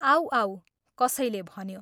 आऊ आऊ, कसैले भन्यो।